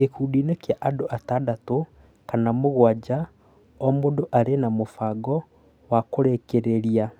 gĩkundiinĩ kĩa andũ atandatũ kana mũgwanja, o mũndũ arĩ na mũbango wa kũrĩkĩrìria